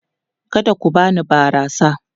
Kada ku bani barasa!